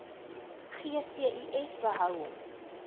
gcis behou hom